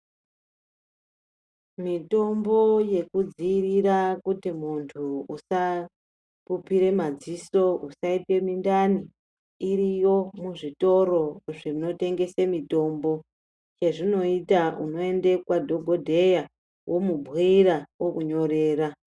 Mitombo yekudzivirira kuti muntu usapupira madziso usaita mundani iriyo muzvitoro zvinotengesa mitombo yezvinoita unoenda kunadhokodheya okubhuira okunyorera.